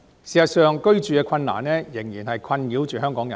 事實上，房屋難題仍然困擾香港人。